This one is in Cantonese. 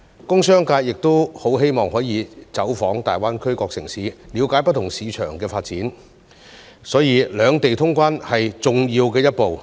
工商界亦很希望可以走訪大灣區各個城市，了解不同市場的發展，所以兩地通關是重要的一步。